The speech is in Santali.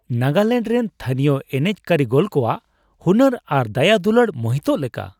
ᱱᱟᱜᱟᱞᱮᱱᱰ ᱨᱮᱱ ᱛᱷᱟᱹᱱᱤᱭᱚ ᱮᱱᱮᱡ ᱠᱟᱹᱨᱤᱜᱚᱞ ᱠᱚᱣᱟᱜ ᱦᱩᱱᱟᱹᱨ ᱟᱨ ᱫᱟᱭᱟᱼᱫᱩᱞᱟᱹᱲ ᱢᱳᱦᱤᱛᱚᱜ ᱞᱮᱠᱟ ᱾